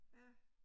Ja